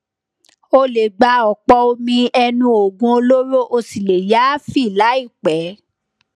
o lè gba ọpọ omi ẹnu oògùn olóró ó sì lè yááfì láìpẹ